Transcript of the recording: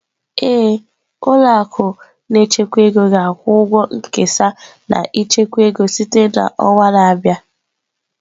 Ee, ụlọ akụ na-echekwa ego ga-akwụ ụgwọ nkesa na ichekwa ego site na ọnwa na-abịa